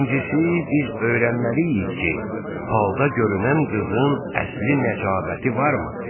Birincisi, biz öyrənməliyik ki, falda görünən qızın əsli-nəcabəti varmı?